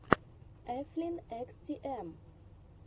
эфлин экс ти эм